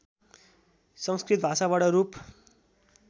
संस्कृत भाषाबाट रूप